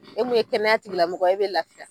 E mun ye kɛnɛya tigilamɔgɔ ye e bɛ lafiya.